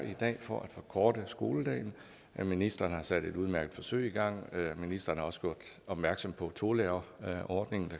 for at forkorte skoledagen ministeren har sat et udmærket forsøg i gang ministeren har også gjort opmærksom på tolærerordningen